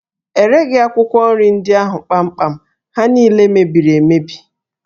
E reghi akwụkwọ nri ndị ahụ kpamkpam, ha niile mebiri emebi